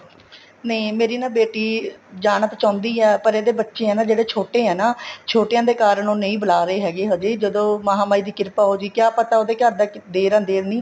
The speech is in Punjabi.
ਨਹੀਂ ਮੇਰੀ ਨਾ ਬੇਟੀ ਜਾਣਾ ਤਾਂ ਚਾਹੁੰਦੀ ਆ ਪਰ ਇਹਦੇ ਬੱਚੇ ਆ ਜਿਹੜੇ ਛੋਟੇ ਆ ਛੋਟਿਆਂ ਦੇ ਕਾਰਨ ਉਹ ਨਹੀਂ ਬੁਲਾ ਰਹੇ ਹੈਗੇ ਅਜੇ ਜਦੋਂ ਮਹਾਮਾਹੀ ਦੀ ਕਿਰਪਾ ਹੋਜ਼ੇਗੀ ਕਿਆ ਪਤਾ ਉਹਦੇ ਘਰ ਦਾ ਦੇਰ ਅਦੇਰ ਨਹੀਂ